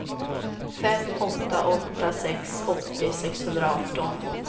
fem åtta åtta sex åttio sexhundraarton